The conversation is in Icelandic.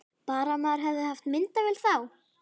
Bara að maður hefði haft myndavél þá!